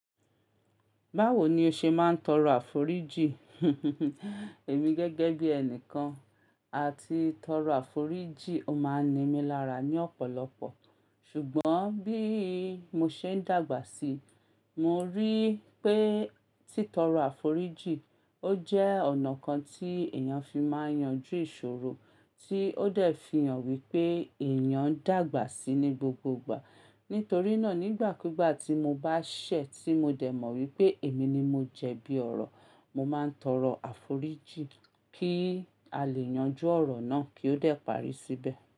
Báwo ni o ṣe máa ń tọrọ àforíjìn? Èmi gẹ́gẹ́ bí ẹnìkan, à ti tọrọ àforíjìn ó máa ń nimí lára ní ọ̀pọ̀lọpọ̀. Ṣùgbọ́n bí mo ṣe ń dàgbà sí i, mo rí i pé títọrọ àforíjì ó jẹ́ ọ̀nà kan tí èèyàn fi máa yanju ìṣòro, tí ó dẹ̀ fi hàn wípé èèyàn ń dàgbà sí i ní gbogbo igbà. Nítorí náà, nígbàkúgbà tí mo bá ṣẹ̀ tí mo dẹ̀ mọ̀ wípé èmi ni mo jẹ bí ọ̀rọ̀, mo máa ń tọrọ àforíjì kí a lè yanjú ọ̀rọ̀ náà kí ó dẹ̀ parí síbẹ̀.